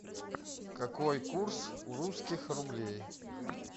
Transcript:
какой курс у русских рублей